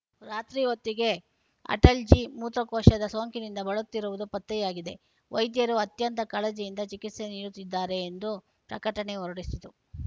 ರಾತ್ರಿ ಹೊತ್ತಿಗೆ ಅಟಲ್‌ಜಿ ಮೂತ್ರಕೋಶದ ಸೋಂಕಿನಿಂದ ಬಳಲುತ್ತಿರುವುದು ಪತ್ತೆಯಾಗಿದೆ ವೈದ್ಯರು ಅತ್ಯಂತ ಕಾಳಜಿಯಿಂದ ಚಿಕಿತ್ಸೆ ನೀಡುತ್ತಿದ್ದಾರೆ ಎಂದು ಪ್ರಕಟಣೆ ಹೊರಡಿಸಿತು